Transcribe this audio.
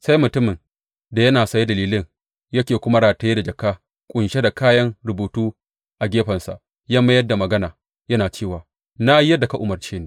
Sai mutumin da yana saye da lilin yake kuma rataye da jaka ƙunshe da kayan rubutu a gefensa ya mayar da magana, yana cewa, Na yi yadda ka umarci ni.